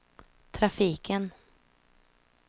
trafiken